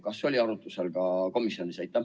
Kas see oli arutlusel komisjonis?